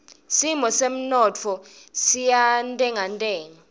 simo semnotfo siyantengantenga